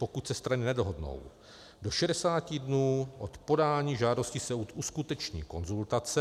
Pokud se strany nedohodnou do 60 dnů od podání žádosti, soud uskuteční konzultace.